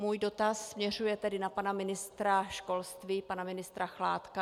Můj dotaz směřuje tedy na pana ministra školství, pana ministra Chládka.